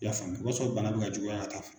I y'a faamu o b'a sɔrɔ bana bɛ ka juguya ka taa fɛ.